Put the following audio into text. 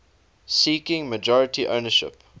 seeking majority ownership